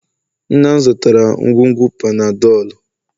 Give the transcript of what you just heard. nna m zụtara ngwugwu Panadol